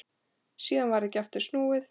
Síðan varð ekki aftur snúið.